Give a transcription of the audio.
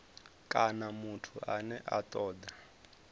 kana muthu ane a toda